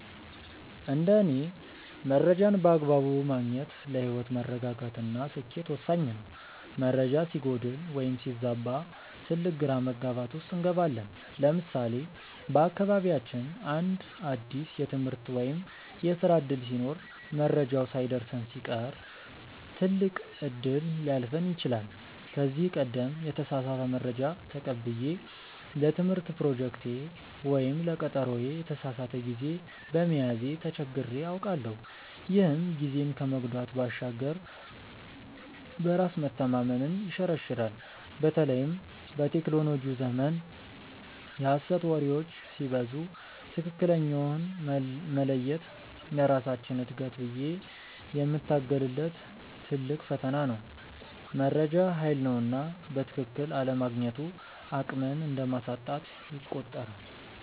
እንደ እኔ መረጃን በአግባቡ ማግኘት ለህይወት መረጋጋት እና ስኬት ወሳኝ ነው። መረጃ ሲጎድል ወይም ሲዛባ ትልቅ ግራ መጋባት ውስጥ እንገባለን። ለምሳሌ በአካባቢያችን አንድ አዲስ የትምህርት ወይም የስራ ዕድል ሲኖር መረጃው ሳይደርሰን ሲቀር ትልቅ እድል ሊያልፈን ይችላል። ከዚህ ቀደም የተሳሳተ መረጃ ተቀብዬ ለትምህርት ፕሮጀክቴ ወይም ለቀጠሮዬ የተሳሳተ ጊዜ በመያዜ ተቸግሬ አውቃለሁ፤ ይህም ጊዜን ከመጉዳት ባሻገር በራስ መተማመንን ይሸረሽራል። በተለይም በቴክኖሎጂው ዘመን የሐሰት ወሬዎች ሲበዙ ትክክለኛውን መለየት ለራሳችን እድገት ብዬ የምታገልለት ትልቅ ፈተና ነው። መረጃ ሃይል ነውና በትክክል አለማግኘቱ አቅምን እንደማሳጣት ይቆጠራል።